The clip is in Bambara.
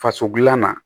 Faso dilanna